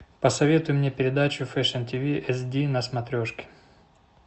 посоветуй мне передачу фэшн ти ви эс ди на смотрешке